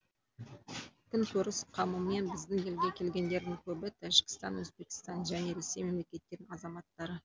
күнкөріс қамымен біздің елге келгендердің көбі тәжікстан өзбекстан және ресей мемлекеттерінің азаматтары